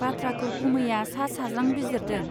बाथ्राखौ गुमैया सा साज्रां बिजिरदों